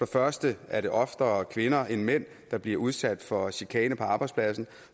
første er det oftere kvinder end mænd der bliver udsat for chikane på arbejdspladsen og